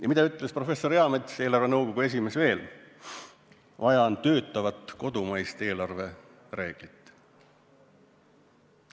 Ja mida ütles professor Eamets, eelarvenõukogu esimees, veel?